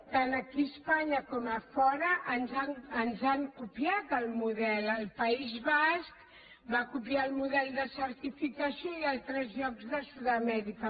tant aquí a espanya com a fora ens han copiat el model el país basc va copiar el model de certificació i a altres llocs de sud amèrica